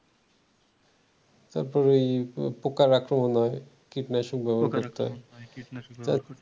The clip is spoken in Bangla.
তারপরে এই পোকার আক্রমন হয় কীটনাশক ব্যবহার করতে হয়